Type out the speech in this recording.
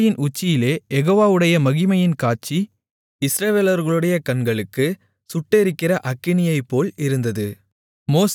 மலையின் உச்சியிலே யெகோவாவுடைய மகிமையின் காட்சி இஸ்ரவேலர்களுடைய கண்களுக்கு சுட்டெரிக்கிற அக்கினியைப்போல் இருந்தது